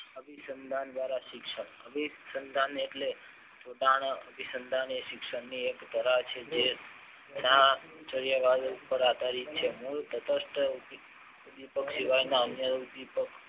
અભિસંદન દ્વારા શિક્ષણ અભિસંદન એટલે ઉતાને એ અભિડસનદાનની એક ધારા છે જે કાર્યવાહી પાર આધારિત છે ઉદ્વિપક સિવાયના અન્ય ઉદ્વિપક